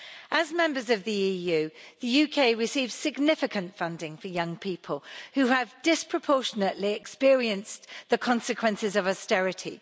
As a member of the EU, the UK receives significant funding for young people, who have disproportionately experienced the consequences of austerity.